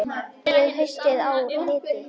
Hlíf, spilaðu lagið „Haustið á liti“.